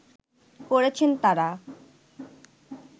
করেছেন তারা